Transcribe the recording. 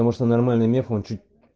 потому что нормальный мех он чуть